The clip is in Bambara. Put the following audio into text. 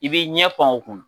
I b'i ɲɛpan o kunna.